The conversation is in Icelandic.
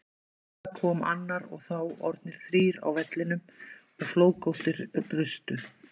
Skyndilega kom annar og þá orðnir þrír á vellinum og flóðgáttir brustu.